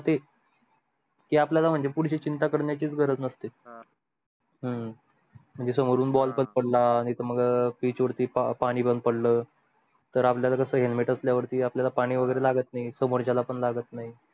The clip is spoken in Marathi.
हम्म म्हणजे समोरून ball पडला आणी इथे मग pitch वरती पाणी बंद पडल तर आपल्याला कस helmet आसल्यावर आपल्याला पाणी वगैरे लागत नाही समोरच्याला पण लागत नाही